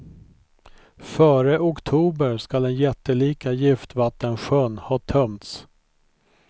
Före oktober skall den jättelika giftvattensjön ha tömts.